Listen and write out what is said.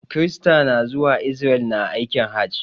Kirista na zuwa Israel na aikin hajj.